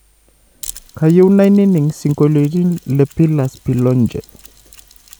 kaiyieu naininig singoliotin le pilaz pilonje